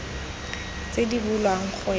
tse di bulwang go ya